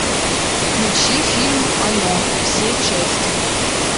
включи фильм оно все части